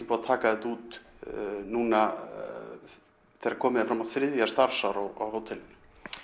búið að taka þetta út núna þegar komið er fram á þriðja starfsár á hótelinu